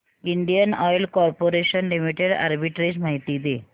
Indian Oil Corporation Limited arbitrage माहिती दे